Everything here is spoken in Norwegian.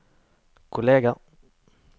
kolleger